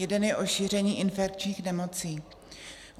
Jeden je o šíření infekčních nemocí.